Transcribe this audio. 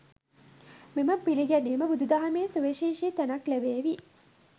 මෙම පිළිගැනීම බුදුදහමෙහි සුවිශේෂී තැනක් ලැබේවි.